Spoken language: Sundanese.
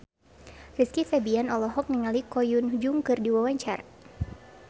Rizky Febian olohok ningali Ko Hyun Jung keur diwawancara